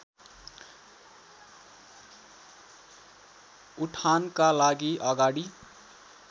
उठानका लागि अगाडि